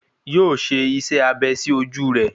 Yóò ṣe iṣẹ́ abẹ sí ojú rẹ̀